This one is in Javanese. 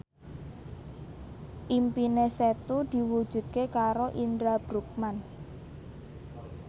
impine Setu diwujudke karo Indra Bruggman